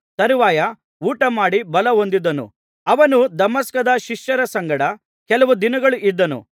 ತರುವಾಯ ಊಟಮಾಡಿ ಬಲಹೊಂದಿದನು ಅವನು ದಮಸ್ಕದಲ್ಲಿದ್ದ ಶಿಷ್ಯರ ಸಂಗಡ ಕೆಲವು ದಿನಗಳು ಇದ್ದನು